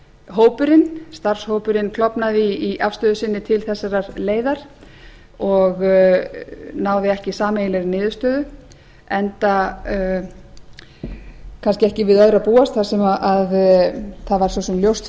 hópurinn starfshópurinn klofnaði í afstöðu sinni til þessarar leiðar og náði ekki sameiginlegri niðurstöðu enda kannski ekki við öðru að búast þar sem það var ljóst